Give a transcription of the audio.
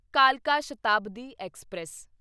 ਕਾਲਕਾ ਸ਼ਤਾਬਦੀ ਐਕਸਪ੍ਰੈਸ